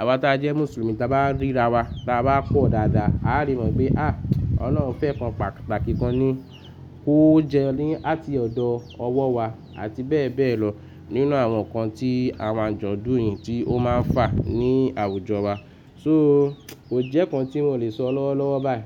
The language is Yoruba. àwa taa jẹ́ Mùsùlùmí ta bá ríra wa, ta bá pọ̀ dáadáa, áale mọ̀ wípé à, Ọlọ́run fẹ́ nǹkan pàtàkì kan ni kówó jẹ́ ní àti ọ̀dọ̀ ọwọ́ wa àti bẹ́ẹ̀ bẹ́ẹ̀ lọ nínú àwọn nǹkan tí àwọn àjọ̀dún yìí tí ó máa ń fà ní àwùjọ wa. So kò jẹ́ nǹkan tí mo lè sọ lọ́wọ́ lọ́wọ́ báyìí.